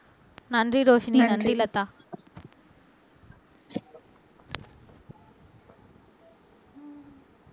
நன்றி ரோஷினி நன்றி லதா